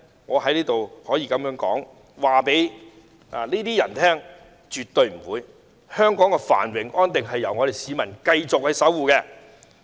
我在此可以告訴這些人：便是絕對不會的。香港的繁榮安定由我們市民繼續守護。